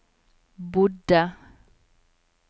bodde